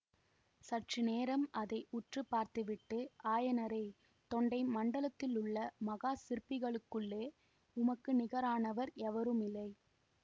சற்று நேரம் அதை உற்று பார்த்துவிட்டு ஆயனரே தொண்டை மண்டலத்திலுள்ள மகா சிற்பிகளுக்குள்ளே உமக்கு நிகரானவர் எவருமில்லை